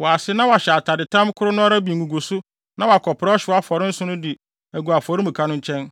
wɔ ase na wahyɛ atadetam koro no ara bi nguguso na wakɔpra ɔhyew afɔre nsõ no de agu afɔremuka no nkyɛn.